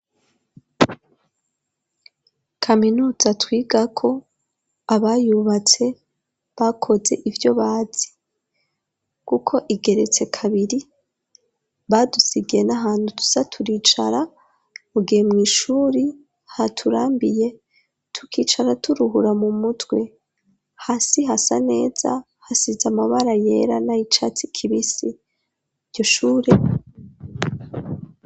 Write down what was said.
Kaminuza twiga ko abayubatse bakoze ibyo bazi kuko igeretse kabiri badusigaye n'ahantu tusa turicara mugihe mwishuri haturambiye tukicara turuhura mu mutwe hasi hasa neza hasize amabara yera nay' icatsi kibisi iryo shure.